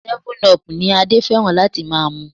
Seven-up ni Adé fẹ́ràn láti máa mu.